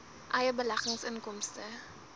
eie beleggings inkomste